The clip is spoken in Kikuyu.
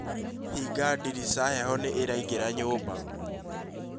Hinga ndirica heho nĩ ĩraĩngĩra nyũmba